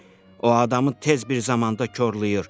O adamı tez bir zamanda korlayır.